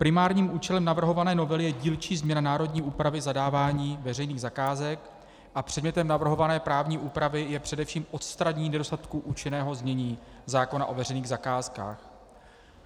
Primárním účelem navrhované novely je dílčí změna národní úpravy zadávání veřejných zakázek a předmětem navrhované právní úpravy je především odstranění nedostatků účinného znění zákona o veřejných zakázkách.